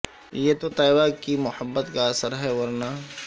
یہ تو طیبہ کی محبت کا اثر ہے ورنہ